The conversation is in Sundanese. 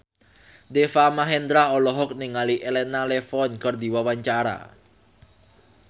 Deva Mahendra olohok ningali Elena Levon keur diwawancara